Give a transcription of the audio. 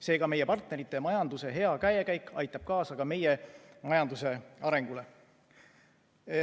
Seega, meie partnerite majanduse hea käekäik aitab kaasa ka meie majanduse arengule.